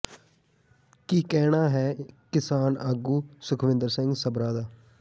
ਕੀ ਕਹਿਣਾ ਹੈ ਕਿਸਾਨ ਆਗੂ ਸੁਖਵਿੰਦਰ ਸਿੰਘ ਸਭਰਾ ਦਾ